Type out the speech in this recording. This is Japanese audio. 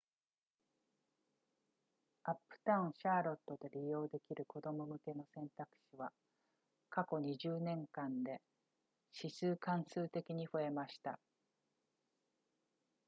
アップタウンシャーロットで利用できる子供向けの選択肢は過去20年間で指数関数的に増えました